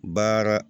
Baara